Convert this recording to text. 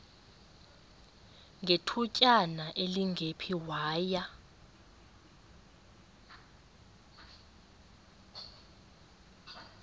ngethutyana elingephi waya